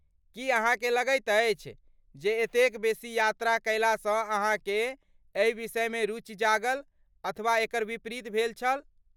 की अहाँकेँ लगैत अछि जे एतेक बेसी यात्रा कयलासँ अहाँकेँ एहि विषयमे रुचि जागल अथवा एकर विपरीत भेल छल?